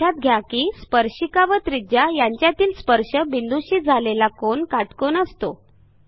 लक्षात घ्या की स्पर्शिका व त्रिज्या यांच्यातील स्पर्श बिंदूशी झालेला कोन काटकोन असतो